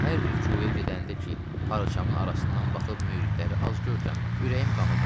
Hər rüküya gedəndə ki, parçamın arasından baxıb müridləri az görürəm, ürəyim qana dönür.